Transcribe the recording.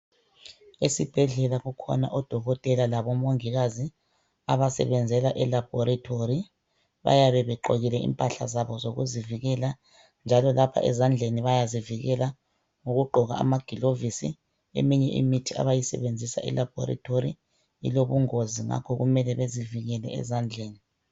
Esibhedlela kukhona oDokotela laboMongikazi abasebenzela elabhorethori. Bayabe begqokile impahla zabo zokuzivikela njalo lapha ezandleni bayazivikela ngokugqoka amagilovisi. Eminye imithi abayisebenzisa elabhoretori ilobungozi ngakho kumele bezivikele ezandleni.